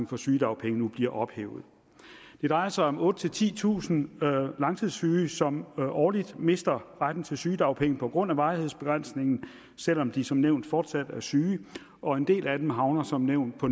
for sygedagpenge nu bliver ophævet det drejer sig om otte tusind titusind langtidssyge som årligt mister retten til sygedagpenge på grund af varighedsbegrænsningen selv om de som nævnt fortsat er syge og en del af dem havner som nævnt på